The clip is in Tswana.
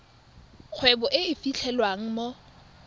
kgwebo e e fitlhelwang mo